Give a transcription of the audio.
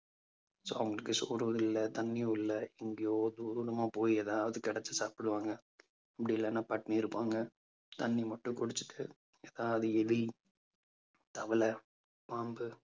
so அவங்களுக்கு சோறு இல்லை தண்ணியும் இல்லை. எங்கயோ போய் ஏதாவது கிடைச்சு சாப்பிடுவாங்க. அப்படி இல்லைன்னா பட்டினி இருப்பாங்க. தண்ணி மட்டும் குடிச்சிட்டு அதாவது எலி தவளை, பாம்பு